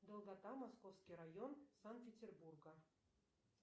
долгота московский район санкт петербурга